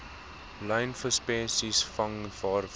lynvisspesies vang waarvan